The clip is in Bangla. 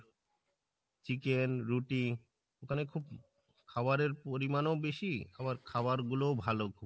chicken রুটি ওখানে খুব খাবারের পরিমান ও বেশি আবার খাবার গুলো ভালো খুব।